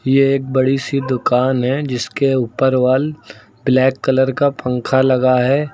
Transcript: यह एक बड़ी सी दुकान है जिसके ऊपर वाल ब्लैक कलर का पंखा लगा है।